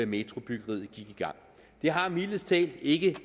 metrobyggeriet gik i gang det har mildest talt ikke